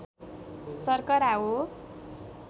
सर्करा हो